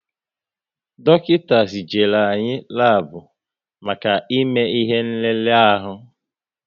Dọkịta zijere anyị labu maka ime ihe nlele ahu